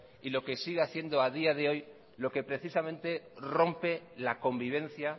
y lo que sigue haciendo a día de hoy lo que precisamente rompe la convivencia